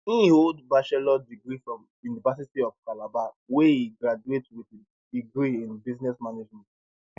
e hold bachelor degree from university of calabar wia e graduate wit degree in business management